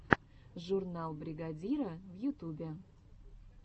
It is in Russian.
журнал бригадира в ютубе